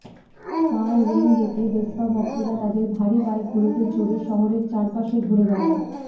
কারওয়ঙ্গেতে Vespa ভক্তরা তাদের ভারী বাইকগুলোতে চড়ে শহরের চারপাশে ঘুরে বেড়ায়